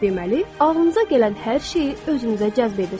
Deməli, ağlınıza gələn hər şeyi özünüzə cəzb edirsiz.